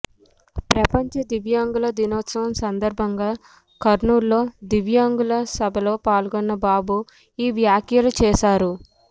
ప్రపంచ దివ్యంగుల దినోత్సవం సందర్భంగా కర్నూల్ లో దివ్యంగుల సభలో పాల్గొన్న బాబు ఈ వ్యాఖ్యలు చేశారు